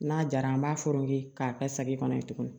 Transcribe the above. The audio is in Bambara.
N'a jara an b'a fɔ k'a kɛ sagi kɔnɔ yen tuguni